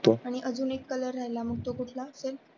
आणि अजून एक color राहिला तो कुठला असेल?